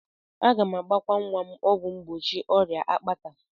Aga m agbakwa nwa m ọgwụ mgbochi ọrịa akpata.